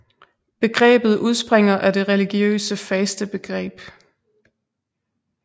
Begrebet udspringer af det religiøse fastebegreb